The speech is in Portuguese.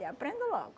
E aprendo logo.